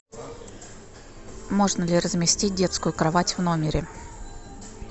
можно ли разместить детскую кровать в номере